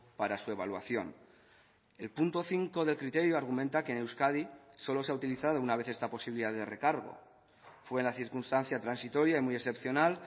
para su evaluación el punto cinco del criterio argumenta que en euskadi solo se ha utilizado una vez esta posibilidad de recargo fue en la circunstancia transitoria y muy excepcional